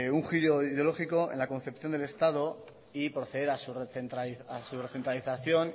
un giro ideológico en la concepción del estado y proceder a su recentralización